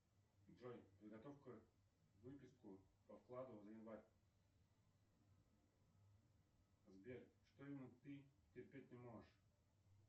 джой подготовь ка выписку по вкладу за январь сбер что именно ты терпеть не можешь